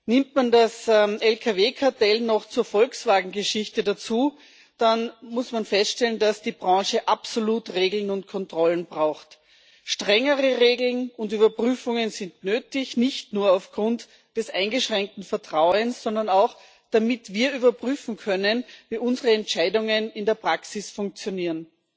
Nimmt man das Lkw Kartell noch zur Volkswagen Geschichte dazu, dann muss man feststellen, dass die Branche absolut Regeln und Kontrollen braucht. Strengere Regeln und Überprüfungen sind nötig, nicht nur aufgrund des eingeschränkten Vertrauens, sondern auch, damit wir überprüfen können, wie unsere Entscheidungen in der Praxis funktionieren.